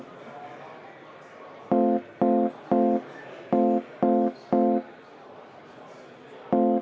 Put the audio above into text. Suur tänu!